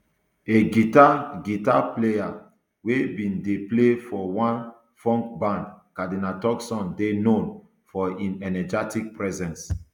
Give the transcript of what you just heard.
a guitar guitar player wey bin dey play for one funk band cardinal turkson dey known for im energetic presence